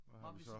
Hvad har vi så?